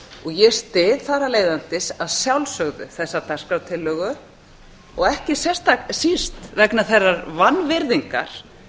ég styð þar af leiðandi að sjálfsögðu þessa dagskrártillögu og ekki síst vegna þeirrar vanvirðingar